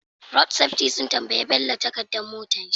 Road safety sun tambayi bello takadar motar shi